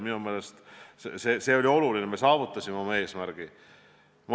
Minu meelest oli see oluline, me saavutasime oma eesmärgi.